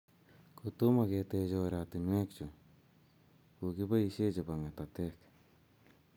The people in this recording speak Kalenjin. Kotomo ketech oratinwek chu, ko kikiboishee chebo ng;atatek